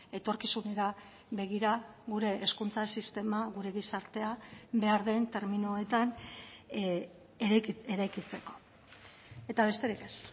etorkizunera begira gure hezkuntza sistema gure gizartea behar den terminoetan eraikitzeko eta besterik ez